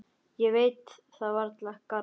Ég veit það varla, Garðar.